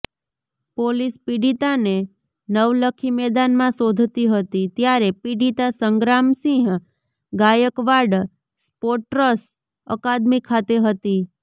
police પીડિતાને નવલખી મેદાનમાં શોધતી હતી ત્યારે પીડિતા સંગ્રામસિંહ ગાયકવાડ સ્પોટ્ર્સ અકાદમી ખાતે હતી